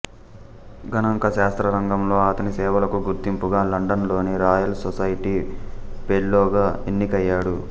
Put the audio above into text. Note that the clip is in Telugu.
గణాంక శాస్త్ర రంగంలో అతని సేవలకు గుర్తింపుగా లండన్ లోని రాయల్ సొసైటీ పెల్లోగా ఎన్నికయ్యాడు